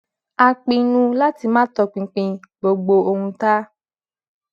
a pinnu láti máa tọpinpin gbogbo ohun tá